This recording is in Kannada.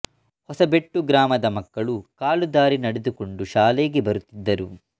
ಹೊಸಬೆಟ್ಟು ಗ್ರಾಮದ ಮಕ್ಕಳು ಕಾಲು ದಾರಿ ನಡೆದುಕೊಂಡು ಶಾಲೆಗೆ ಬರುತ್ತಿದ್ದರು